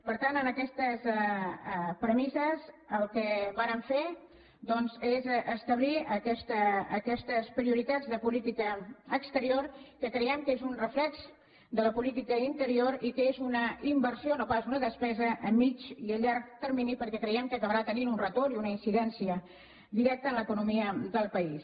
per tant amb aquestes premisses el que vàrem fer doncs és establir aquestes prioritats de política exterior que creiem que són un reflex de la política interior i que és una inversió no pas una despesa a mig i llarg termini perquè creiem que acabarà tenint un retorn i una incidència directa en l’economia del país